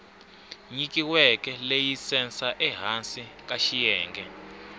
nyikiweke layisense ehansi ka xiyenge